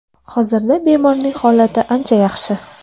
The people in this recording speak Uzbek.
Hozirda bemorning holati ancha yaxshi.